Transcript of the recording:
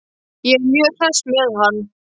Ég er mjög hress með hann.